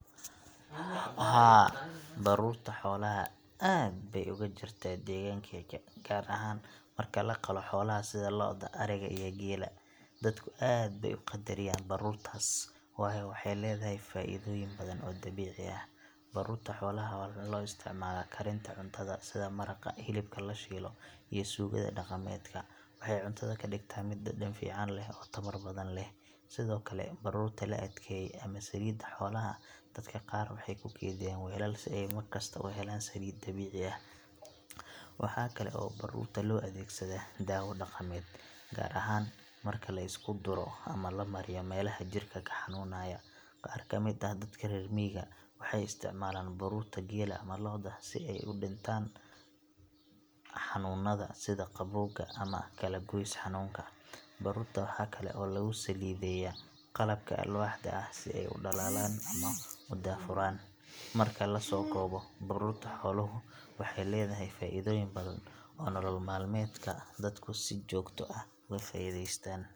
Haa, baruurta xoolaha aad bay uga jirtaa deegaankayga, gaar ahaan marka la qalo xoolaha sida lo’da, ariga, iyo geela. Dadku aad bay u qadariyaan baruurtaas, waayo waxay leedahay faa’iidooyin badan oo dabiici ah. Baruurta xoolaha waxaa loo isticmaalaa karinta cuntada, sida maraqa, hilibka la shiilo, iyo suugada dhaqameedka. Waxay cuntada ka dhigtaa mid dhadhan fiican leh oo tamar badan leh. Sidoo kale, baruurta la adkeeyay—ama saliidda xoolaha—dadka qaar waxay ku kaydiyaan weelal si ay markasta u helaan saliid dabiici ah. Waxaa kale oo baruurta loo adeegsadaa dawo dhaqameed, gaar ahaan marka la isku duro ama la mariyo meelaha jirka ka xanuunaya. Qaar ka mid ah dadka reer miyiga waxay isticmaalaan baruurta geela ama lo’da si ay u dhintaan xanuunnada sida qabowga ama kalagoys xanuunka. Baruurta waxaa kale oo lagu saliidayaa qalabka alwaaxda ah si ay u dhalaalaan ama u daahfuraan. Marka la soo koobo, baruurta xooluhu waxay leedahay faa’iidooyin badan oo nolol maalmeedka dadku ay si joogto ah uga faa’iidaystaan.